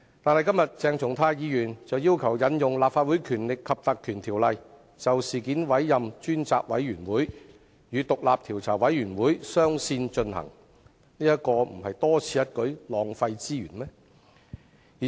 但是，鄭松泰議員今天卻要求引用《立法會條例》，就事件委任專責委員會，與調查委員會雙線展開工作，這豈非多此一舉，浪費資源？